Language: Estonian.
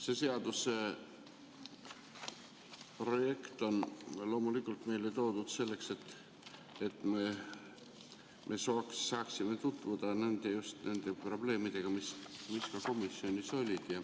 See seaduse projekt on loomulikult meile toodud selleks, et me saaksime tutvuda just nende probleemidega, mis ka komisjonis olid.